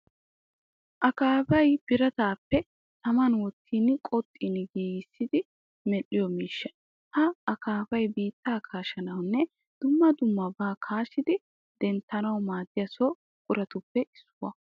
Akaafay birataappe taman wottidi qoxxin giigissiidi medhdhiyo miishsha. Ha akaafay biittaa kasshanawunne demma dummabaa kaashshidi denttanawu maaddiya so buquratuppe issuwa.